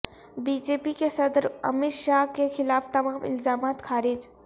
be J P کے صدر امیت شاہ کے خلاف تمام الزامات خارج